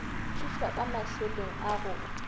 thušwa ka mašeleng a go